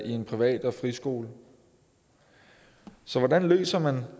i en privat og friskole hvordan løser man